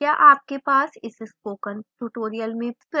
क्या आपके पास इस spoken tutorial में प्रश्न हैं